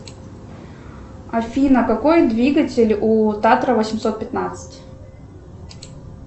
афина какой двигатель у татра восемьсот пятнадцать